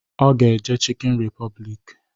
Ọ ga-eje chịkịn repọblik